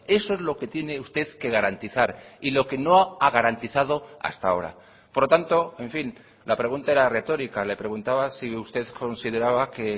eso es lo que tiene usted que garantizar y lo que no ha garantizado hasta ahora por lo tanto en fin la pregunta era retórica le preguntaba si usted consideraba que